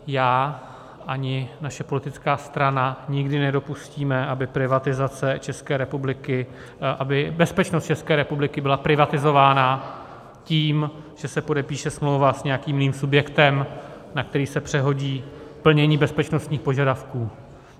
Já ani naše politická strana, nikdy nedopustíme, aby bezpečnost České republiky byla privatizována tím, že se podepíše smlouva s nějakým jiným subjektem, na který se přehodí plnění bezpečnostních požadavků.